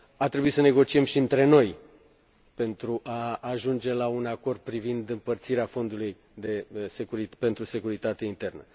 A trebuit să negociem și între noi pentru a ajunge la un acord privind împărțirea Fondului pentru securitate internă.